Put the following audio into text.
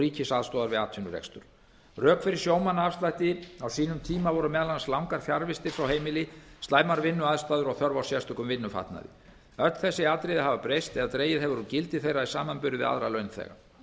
ríkisaðstoðar við atvinnurekstur rök fyrir sjómannaafslætti á sínum tíma voru meðal annars langar fjarvistir frá heimili slæmar vinnuaðstæður og þörf á sérstökum vinnufatnaði öll þessi atriði hafa breyst eða dregið hefur úr gildi þeirra í samanburði við aðra